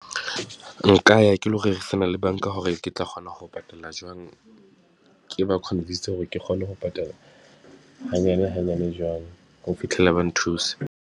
Nka ya ke lo rerisana le banka hore ke tla kgona ho patala jwang, ke ba convince-se hore ke kgone ho patala hanyane hanyane jwalo, ho fitlhela ba nthusa.